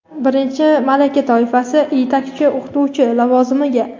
birinchi malaka toifasi – yetakchi o‘qituvchi lavozimiga,.